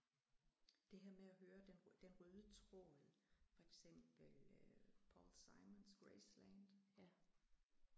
Det her med at høre den den råde tråd for eksempel Paul Simons Graceland